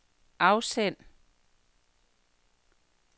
afsend